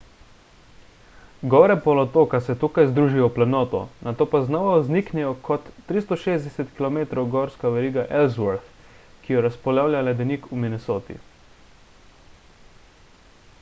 gore polotoka se tukaj združijo v planoto nato pa znova vzniknejo kot 360-km gorska veriga ellsworth ki jo razpolavlja ledenik v minnesoti